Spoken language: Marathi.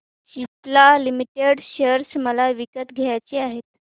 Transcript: सिप्ला लिमिटेड शेअर मला विकत घ्यायचे आहेत